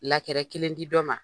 kelen di dɔ ma.